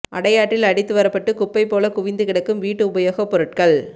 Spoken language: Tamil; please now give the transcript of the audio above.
அடையாற்றில் அடித்து வரப்பட்டு குப்பை போல குவிந்து கிடக்கும் வீட்டு உபயோகப் பொருட்கள்